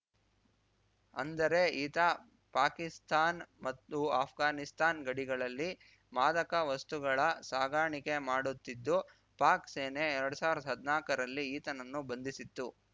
ಅಂದರೆ ಈತ ಪಾಕಿಸ್ತಾನ್ ಮತ್ತು ಅಷ್ಘಾನಿಸ್ತಾನ್ ಗಡಿಗಳಲ್ಲಿ ಮಾದಕ ವಸ್ತುಗಳ ಸಾಗಾಣಿಕೆ ಮಾಡುತ್ತಿದ್ದು ಪಾಕ್‌ ಸೇನೆ ಎರಡ್ ಸಾವ್ರ್ದ ಹದ್ನಾಲ್ಕರಲ್ಲಿ ಈತನನ್ನು ಬಂಧಿಸಿತ್ತು